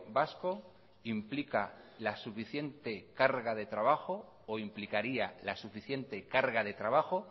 vasco implica la suficiente carga de trabajo o implicaría la suficiente carga de trabajo